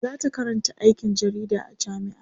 zata Karanta aikin jarida a jamia